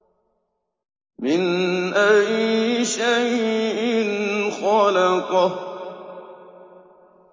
مِنْ أَيِّ شَيْءٍ خَلَقَهُ